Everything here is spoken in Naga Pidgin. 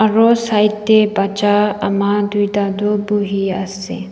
Aro side te bacha ama doita toh buhi ase.